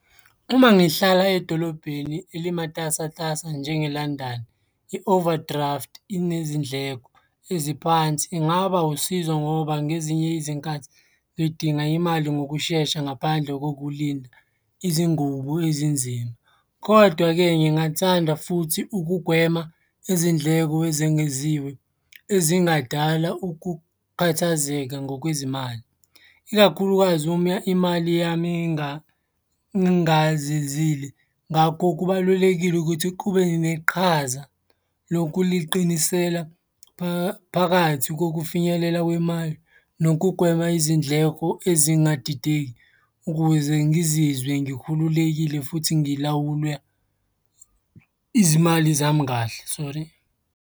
Uma ngihlala edolobheni elimatasatasa njengeLondon, i-overdraft inezindleko eziphansi. Ingaba usizo ngoba ngezinye izinkathi ngidinga imali ngokushesha ngaphandle kokulinda izingubo ezinzima, kodwa-ke ngingathanda futhi ukugwema izindleko ezengeziwe ezingadala ukukhathazeka ngokwezimali, ikakhulukazi uma imali yami ingazizile. Ngakho, kubalulekile ukuthi kube neqhaza lokuliqinisela phakathi kokufinyelela kwemali nokugwema izindleko ezingadideki ukuze ngizizwe ngikhululekile futhi ngilawulwe izimali zami kahle, sori.